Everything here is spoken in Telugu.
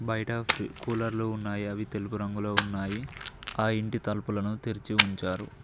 బయట ఫ్ర్ కూలర్లు ఉన్నాయి అవి తెలుపు రంగులో ఉన్నాయి ఆ ఇంటి తలపులను తెరిచి ఉంచారు.